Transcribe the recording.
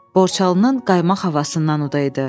Borçalının qaymaq havasından udaydı.